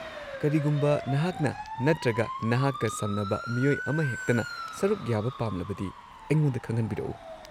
-ꯀꯔꯤꯒꯨꯝꯕ ꯅꯍꯥꯛꯅ ꯅꯠꯇ꯭ꯔꯒ ꯅꯍꯥꯛꯀ ꯁꯝꯅꯕ ꯃꯤꯑꯣꯏ ꯑꯃꯍꯦꯛꯇꯅ ꯁꯔꯨꯛ ꯌꯥꯕ ꯄꯥꯝꯂꯕꯗꯤ, ꯑꯩꯉꯣꯟꯗ ꯈꯪꯍꯟꯕꯤꯔꯛꯎ꯫